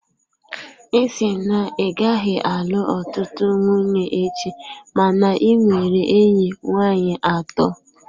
Ị sị na ị gaghị alụ ọtụtụ nwunye echi, mana ị nwere enyi nwanyị atọ.